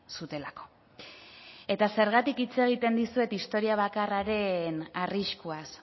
zutelako eta zergatik hitz egiten dizuet historia bakarraren arriskuaz